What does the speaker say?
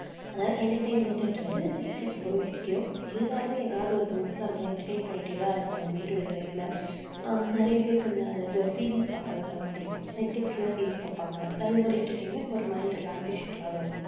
அதாவது entertainment ன்றது life ல ரொம்பவே முக்கியம். எல்லாருமே எதாவது ஒரு விதத்தில நம்ம entertain பண்ணிட்டேதான் இருப்போம் day-to-day life ல. அஹ் நிறைய பேருக்கு இந்த இது series பார்க்கத்தான் ரொம்ப பிடிக்கும் netflix ல series பார்ப்பாங்க. அது ஒரு entertainment ஒரு mind relaxation காக இருக்கும்